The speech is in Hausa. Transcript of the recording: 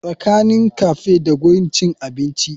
Tsakanin cafe da gurin cin abinci?